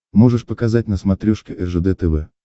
можешь показать на смотрешке ржд тв